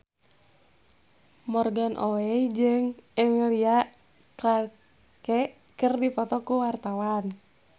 Morgan Oey jeung Emilia Clarke keur dipoto ku wartawan